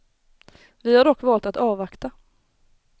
Vi har dock valt att avvakta.